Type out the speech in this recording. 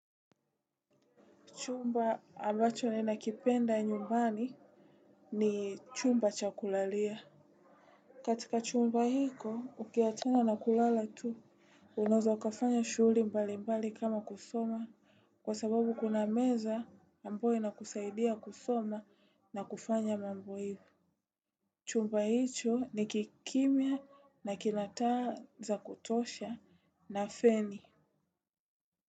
Chumba ambacho nina kipenda nyumbani ni chumba cha kulalia. Katika chumba hiko, ukiachana na kulala tu, unaeza ukafanya shuguli mbali mbali kama kusoma. Kwa sababu kuna meza ambayo inakusaidia kusoma na kufanya mambo hivo. Chumba hicho ni kikimya na kina taa za kutosha na feni.